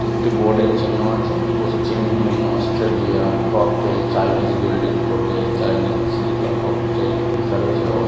এটি একটি বোর্ড এর চিহ্ন আছে। পশ্চিম চিন অস্ট্রেলিয়া ককটেল চাইনিজ গোল্ডেন ফোটেজ চাইনিজ সিলভার ককটেল লেখা রয়েছে। অ --